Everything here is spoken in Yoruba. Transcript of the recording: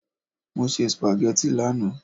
Mo se sìpàgẹ́tì lánàá.